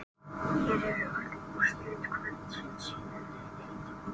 Hér eru öll úrslit kvöldsins í neðri deildum: